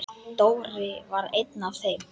Dóri var einn af þeim.